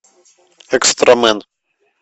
экстрамен